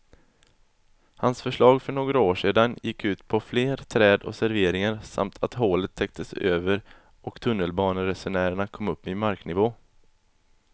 Hans förslag för några år sedan gick ut på fler träd och serveringar samt att hålet täcktes över och tunnelbaneresenärerna kom upp i marknivå.